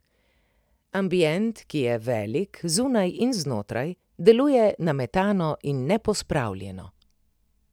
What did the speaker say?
Ambient, ki je velik, zunaj in znotraj, deluje nametano in nepospravljeno.